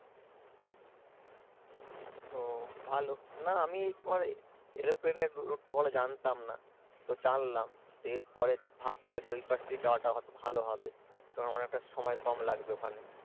ও ভালো না আমি একটু মানে এরোপ্লেনের রুটটা ভালো জানতাম না তো জানলাম এর পরের ভাববো যে ওই পাশে যাওয়াটা কত ভালো হবে কারণ অনেকটা সময় কম লাগবে ওখানে।